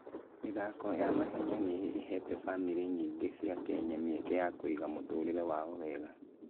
mĩthako ya mahenya nĩ ĩheete bamĩrĩ nyingĩ cia Kenya mĩeke ya kũiga mũtũũrĩre wao mwega.